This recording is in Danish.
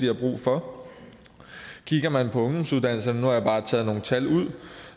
har brug for kigger man på ungdomsuddannelserne og jeg bare taget nogle tal ud